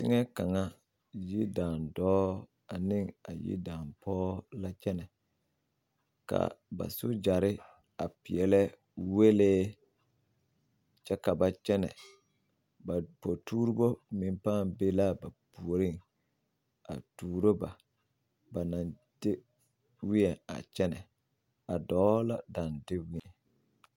Teŋɛ kaŋa yidaandɔɔ ane a yidaapɔge la kyɛnɛ ka ba sogyare a prɛlɛ wɛlee kyɛ ka ba kyɛnɛ ba potuuribo pãã be la ba puoriŋ a tuuro ba ba na deweɛ kyɛnɛ a dɔɔ la dao deweɛ.